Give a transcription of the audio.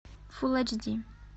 фул эйч ди